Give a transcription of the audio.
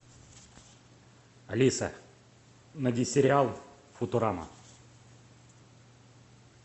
алиса найди сериал футурама